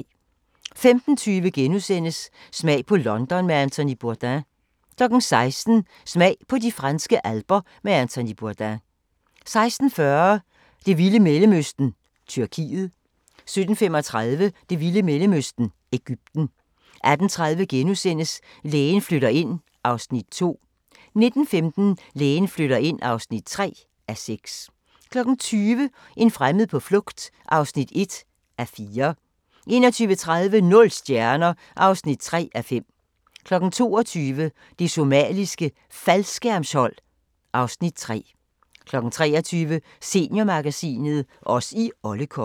15:20: Smag på London med Anthony Bourdain * 16:00: Smag på de franske alper med Anthony Bourdain 16:40: Det vilde Mellemøsten -Tyrkiet 17:35: Det vilde Mellemøsten – Egypten 18:30: Lægen flytter ind (2:6)* 19:15: Lægen flytter ind (3:6) 20:00: En fremmed på flugt (1:4) 21:30: Nul stjerner (3:5) 22:00: Det Somaliske Faldskærmshold (Afs. 3) 23:00: Seniormagasinet – Os i Olle Kolle